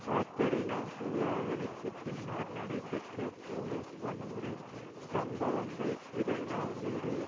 Katrina சூறாவளிக்கு பின்னர் நடைபெற்ற போலீஸ் வன்முறை சம்பவங்கள் இரண்டாம் வீடியோ